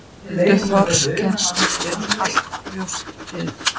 Þórhildur Þorkelsdóttir: Allt brjóstið?